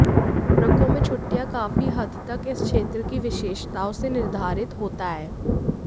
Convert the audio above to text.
Morocco में छुट्टियाँ काफी हद तक इस क्षेत्र की विशेषताओं से निर्धारित होता है